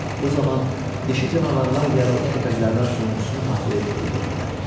Bu zaman dişi canavarlar yaralı köpəklərdən sonuncusunu haqqlayıb öldürdülər.